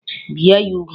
Bie ya úgwù!